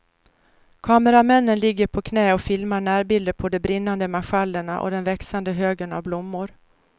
Kameramännen ligger på knä och filmar närbilder på de brinnande marschallerna och den växande högen av blommor.